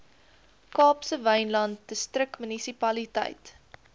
kaapse wynland distriksmunisipaliteit